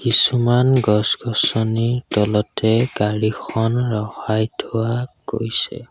কিছুমান গছ-গছনিৰ তলতে গাড়ীখন ৰখাই থোৱা গৈছে।